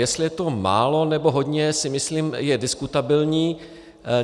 Jestli je to málo, nebo hodně, si myslím, je diskutabilní.